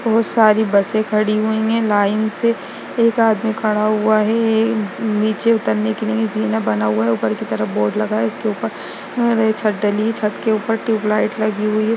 बहोत सारी बसें खड़ी हुई है लाइन से एक आदमी खड़ा हुआ है नीचे उतरने के लिए जीना बना हुआ है ऊपर की तरफ बोर्ड लगा है इसके ऊपर छत डली है छत के ऊपर ट्यूब लाइट लगी हुई है।